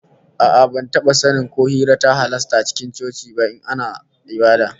A'a, ban taba sanin ko hira ta halasta a cikin coci ba in ana ibada